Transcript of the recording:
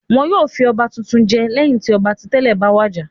Wọn yóò fi ọba tuntun jẹ lẹ́yìn tí ọba ti tẹ́lẹ̀ bá ti wàjà.